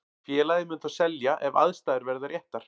Félagið mun þó selja ef aðstæður verða réttar.